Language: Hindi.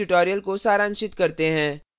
इस tutorial को सारांशित करते हैं